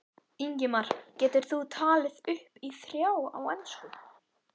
Ingimar: Getur þú talið upp í þrjá á ensku?